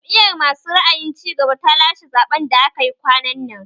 Jam'iyar masu ra'ayin cigaba ta lashe zaɓen da aka yi kwanan nan